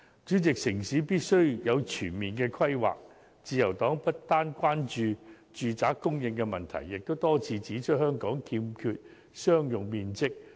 主席，城市必須有全面的規劃，自由黨不單關注住宅供應的問題，亦多次指出香港欠缺商用面積。